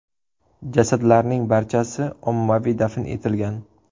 Jasadlarning barchasi ommaviy dafn etilgan.